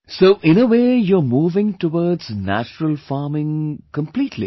So in a way you are moving towards natural farming, completely